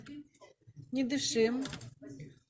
не дыши